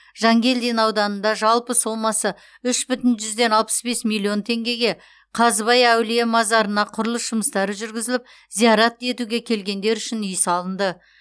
жангелдин ауданында жалпы сомасы үш бүтін жүзден алпыс бес миллион теңгеге қазыбай әулие мазарына құрылыс жұмыстары жүргізіліп зиярат етуге келгендер үшін үй салынды